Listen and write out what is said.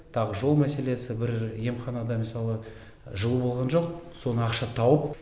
тағы жол мәселесі бір емханада мысалы жылу болған жоқ соны ақша тауып